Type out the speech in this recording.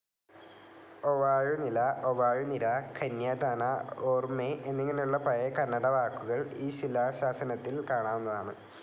ഒവാഴു നില, ഒവാഴു നിര, കന്യാദാന, ഓർമ്മെ എന്നിങ്ങനെയുള്ള പഴയ കന്നഡ വാക്കുകൾ ഈ ശിലാശാസനത്തിൽ കാണാവുന്നതാണ്.